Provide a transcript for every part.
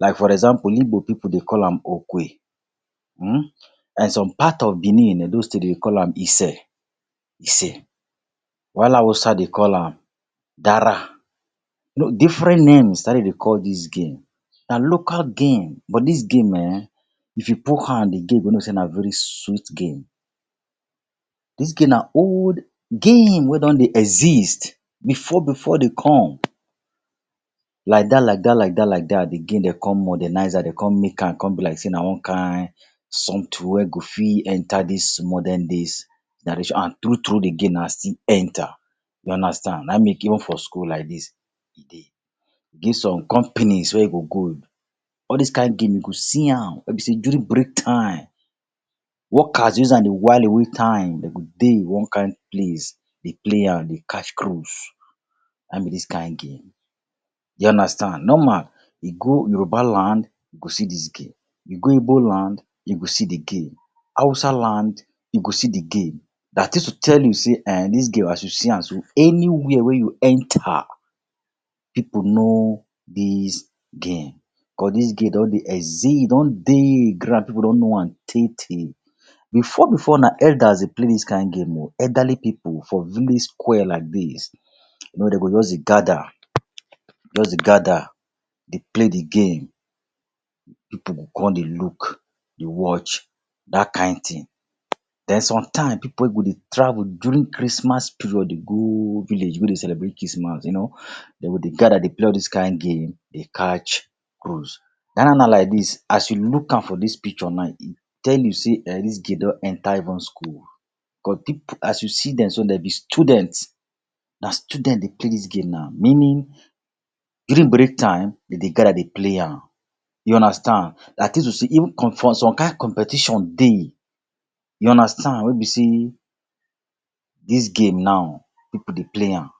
Like for example, igbo pipu dey call am okwe um Like some part of Benin Edo state dey call am ise ise, while Hausa dey call am dara. different names na hin dem dey call dis game. Na local game, but dis game um if you put hand you go know sey na very sweet game. Dis game na old game wey don dey exist before before dey come. Like that like that like that like that de game dem come modernize am, dem come make am come be like sey na one kind something wey go fit enter dis modern days And true true de game na still enter. You understand. Na e make even for school like dis e dey. E get some companies wey you go go, all these kind game you see am wey be sey during break time, workers use am dey while away time. Dem go dey one kind place, dey play am, dey catch cruise. Na hin be this kind game. You understand. Normal, you go Yoruba land, you go see dis game. You go igbo land, you go see de game. Hausa land, you go see de game. That is to tell you sey um dis game as you see am so, anywhere wey you enter, pipu know dis game, cause dis game don dey exist. E don dey ground pipu don know am tey tey. Before before na elders dey play dis kind game o. Elderly pipu for village square like dis, you know dem go just dey gather, just dey gather, dey play de game, pipu go come dey look, dey watch. That kind thing. Then sometimes, pipu wey go dey travel during Christmas period dey go village go dey celebrate Christmas, you know, dem go dey gather dey play all this kind game, dey catch cruise. Now now now like dis, as you look am for dis picture now, e tell you sey um dis game don enter even school. Cause as you see dem so dem be students. Na student dey play dis game now. Meaning, during break time, dem dey gather dey play am. You understand. That is to say even some kind competition dey, you understand, wey be sey dis game now pipu dey play am.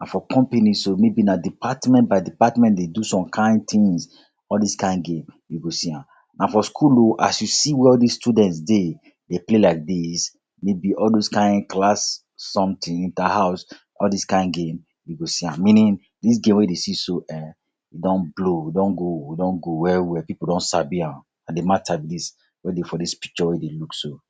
And for company so maybe na department by department dey do some kind things, all these kind game, you go see am. And for school o, as you see where all these students dey dey play like dis, maybe all those kind class something, inter-house, all these kind game, you go see am. Meaning, dis game wey you dey see so um e don blow. E go don go. E don go well well. Pipu don sabi am. Na de matter be dis wey dey for de dis picture wey you dey look so.